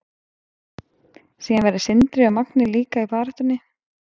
Síðan verða Sindri og Magni líka í baráttunni.